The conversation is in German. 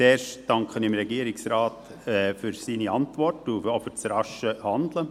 Zuerst danke ich dem Regierungsrat für seine Antwort und auch für das rasche Handeln.